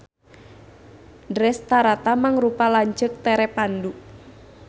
Drestarata mangrupa lanceuk tere Pandu.